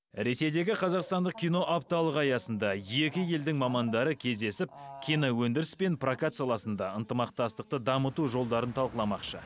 ресейдегі қазақстандық кино апталығы аясында екі елдің мамандары кездесіп киноөндіріс пен прокат саласында ынтымақтастықты дамыту жолдарын талқыламақшы